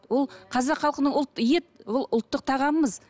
ол қазақ халқының ет ол ұлттық тағамымыз